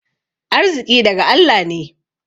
Arziƙi daga Allah ne.